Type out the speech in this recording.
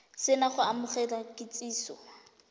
se na go amogela kitsiso